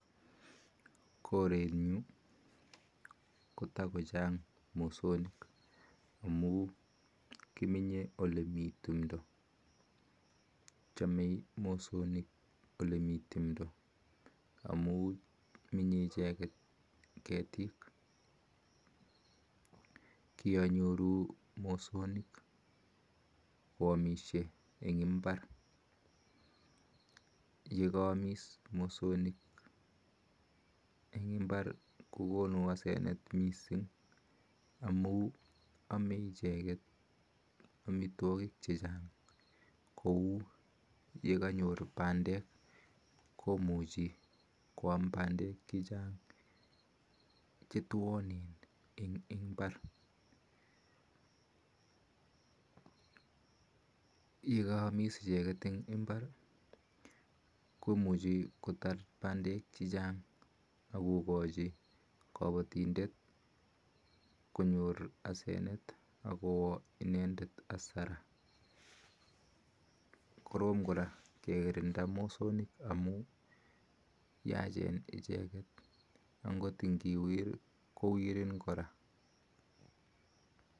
Koreen nyuun ko takochaang mosoniik amun kimenyee oletimndoo amun menye icheget ketik kyanyoruu mosonik kwamishee eng imbar ako konuu hasenet missing amun kyanyoruu ananeet kwameee pandeek eng imbar ako kachin kapatindet hasent angot ngiwir moset kowirin kora